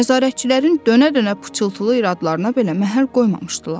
Nəzarətçilərin dönə-dönə pıçılıq yradlarına belə məhəl qoymamışdılar.